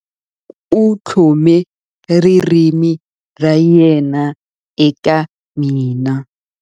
U tlhome ririmi ra yena eka mina.